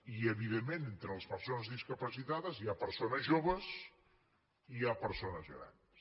i evidentment entre les persones discapacitades hi ha persones joves i hi ha persones grans